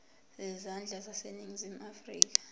zezandla zaseningizimu afrika